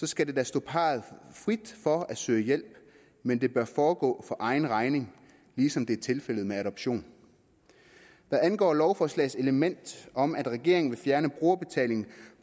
skal det da stå parret frit for at søge hjælp men det bør foregå for egen regning ligesom det er tilfældet med adoption hvad angår lovforslagets element om at regeringen vil fjerne brugerbetalingen